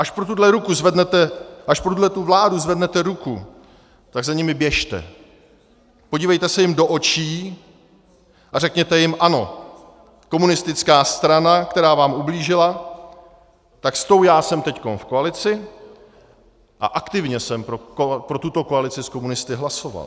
Až pro tuhle vládu zvednete ruku, tak za nimi běžte, podívejte se jim do očí a řekněte jim: Ano, komunistická strana, která vám ublížila, tak s tou já jsem teď v koalici a aktivně jsem pro tuto koalici s komunisty hlasoval.